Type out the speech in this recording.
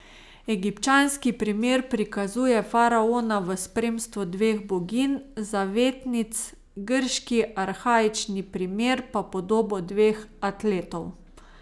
Egipčanski primer prikazuje faraona v spremstvu dveh boginj, zavetnic, grški arhaični primer pa podobo dveh atletov.